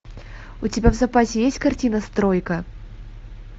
у тебя в запасе есть картина стройка